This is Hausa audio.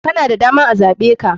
Kana da daman a zaɓeka.